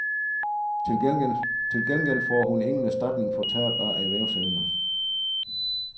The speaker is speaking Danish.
Til gengæld får hun ingen erstatning for tab af erhvervsevne.